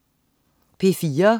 P4: